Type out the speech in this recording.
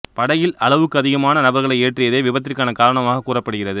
படகில் அளவுக்கு அதிகமான நபர்களை ஏற்றியதே விபத்திற்கான காரணமாக கூறப்படுகிறது